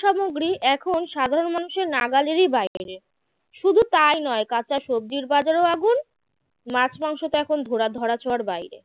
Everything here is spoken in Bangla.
সামগ্রী এখন সাধারণ মানুষের নাগালের বাইরে শুধু তাই নয় কাঁচা সব্জির বাজারেও আগুন মাছ মাংস তো এখন ধরা ধরাছোঁয়ার বাইরে